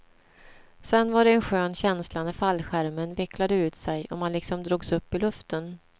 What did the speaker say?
Sen var det en skön känsla när fallskärmen vecklade ut sig och man liksom drogs upp i luften.